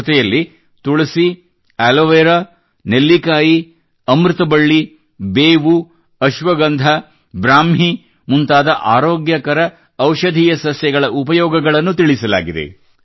ಜೊತೆಯಲ್ಲಿ ತುಳಸಿ ಆಲೋವೆರಾ ನೆಲ್ಲಿಕಾಯಿ ಅಮೃತಬಳ್ಳಿ ಬೇವು ಅಶ್ವಗಂಧ ಬ್ರಾಹ್ಮೀ ಮುಂತಾದ ಆರೋಗ್ಯಕರ ಔಷಧೀಯ ಸಸ್ಯಗಳ ಉಪಯೋಗಗಳನ್ನು ತಿಳಿಸಲಾಗಿದೆ